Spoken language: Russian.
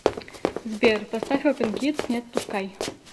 сбер поставь опен кидс не отпускай